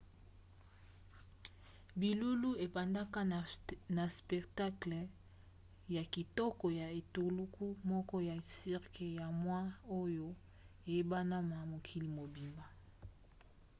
milulu ebandaka na spectacle ya kitoko ya etuluku moko ya cirque ya moi oyo eyebana na mokili mobimba